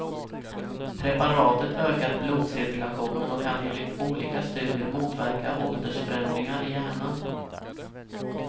Preparatet ökar blodcirkulationen och kan enligt olika studier motverka åldersförändringar i hjärnan.